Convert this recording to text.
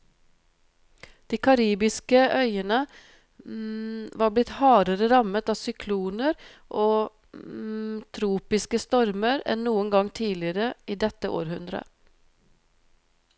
De karibiske øyene var blitt hardere rammet av sykloner og tropiske stormer enn noen gang tidligere i dette århundret.